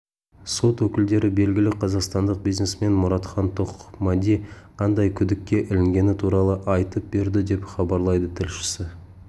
сот өкілдері белгілі қазақстандық бизнесмен мұратхан тоқмәди қандай күдікке ілінгені туралы айтып берді деп хабарлайды тілшісі